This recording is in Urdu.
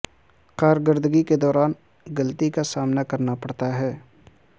کارکردگی کے دوران غلطی کا سامنا کرنا پڑتا ہے